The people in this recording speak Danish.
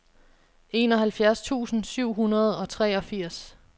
enoghalvfjerds tusind syv hundrede og treogfirs